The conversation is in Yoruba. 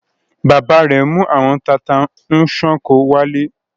Bàbá rẹ̀ mú àwọn tata-n-sánkọ wálé.